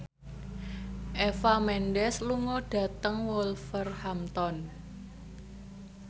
Eva Mendes lunga dhateng Wolverhampton